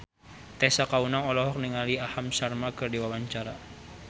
Tessa Kaunang olohok ningali Aham Sharma keur diwawancara